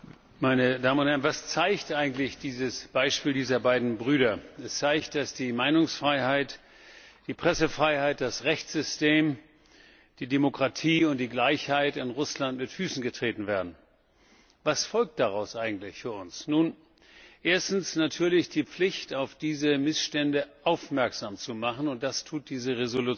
Frau Präsidentin, meine Damen und Herren! Was zeigt eigentlich das Beispiel dieser beiden Brüder? Es zeigt, dass die Meinungsfreiheit, die Pressefreiheit, das Rechtssystem, die Demokratie und die Gleichheit in Russland mit Füßen getreten werden. Was folgt daraus eigentlich für uns? Nun, erstens natürlich die Pflicht, auf diese Missstände aufmerksam zu machen, und das tut diese